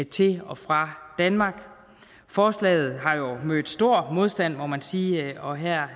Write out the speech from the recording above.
til og fra danmark forslaget har jo mødt stor modstand må man sige og her